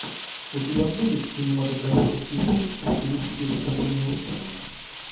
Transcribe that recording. у тебя будет кинематографический фильм в стилистике выступление ученого